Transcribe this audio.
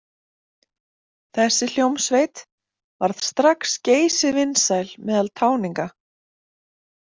Þessi hljómsveit varð strax geysivinsæl meðal táninga.